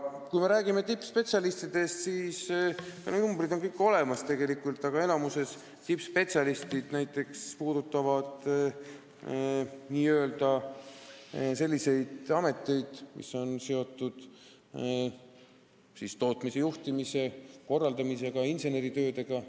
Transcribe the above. Kui me räägime tippspetsialistidest, siis numbrid on kõik tegelikult olemas, aga enamikus on tippspetsialistid sellistes ametites, mis on seotud tootmise juhtimise ja korraldamisega ning inseneritöödega.